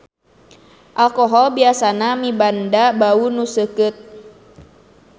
Alkohol biasana mibanda bau nu seukeut.